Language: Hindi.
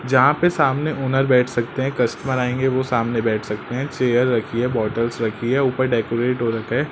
जहां पे सामने ओनर बैठ सकते हैं। कस्टमर आएंगे वो सामने बैठ सकते हैं। चेयर रखी है। बोटलस् रखी है। ऊपर डेकोरेट हो रखा हैं।